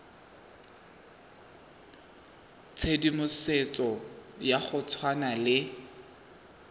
tshedimosetso ya go tshwana le